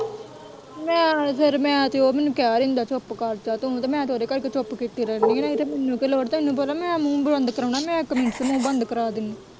ਮੈਂ ਤੇ ਉਹ ਫੇਰ ਮੈਨੂੰ ਕਹਿ ਦਿੰਦਾ ਚੁੱਪ ਕਰ ਜਾਂ ਤੂੰ ਮੈਂ ਤੇ ਉਹਦੇ ਕਰਕੇ ਚੁੱਪ ਕੀਤੀ ਰਹਿਣੀ ਏ ਨਹੀਂ ਤੇ ਮੈਨੂੰ ਕਿ ਲੋੜ ਤੈਨੂੰ ਪਤਾ ਮੈਂ ਮੂੰਹ ਬੰਦ ਕਰਾਉਣਾ ਮੈਂ ਇੱਕ ਮਿੰਟ ਚ ਮੂੰਹ ਬੰਦ ਕਰਾਂ ਦਿੰਦੀ।